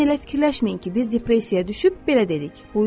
Lakin elə fikirləşməyin ki, biz depressiyaya düşüb belə dedik: